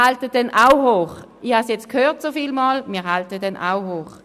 Ich habe es jetzt so oft gehört, wir halten ihn auch hoch.